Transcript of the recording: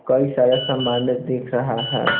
कई सारे सामान्य दिख रहा है।